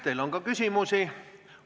Teile on ka küsimusi.